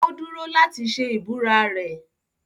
Ó dúró láti ṣe ìbúra rẹ̀.